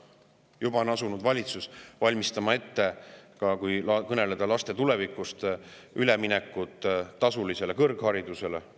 Kui kõneleda laste tulevikust, on valitsus asunud ette valmistama üleminekut tasulisele kõrgharidusele.